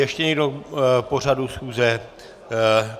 Ještě někdo k pořadu schůze?